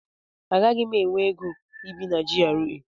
Agaghị m enwe ego ibi na GRA.